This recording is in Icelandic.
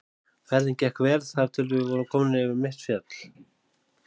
Ferðin gekk vel þar til við vorum komnir yfir mitt fjall.